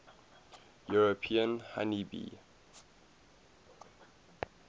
european honey bee